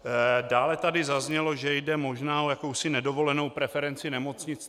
Dále tady zaznělo, že jde možná o jakousi nedovolenou preferenci nemocnic.